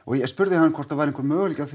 ég spurði hann hvort það væri einhver möguleiki á